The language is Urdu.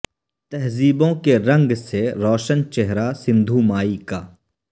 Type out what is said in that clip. تہذیبوں کے رنگ سے روشن چہرہ سندھو مائی کا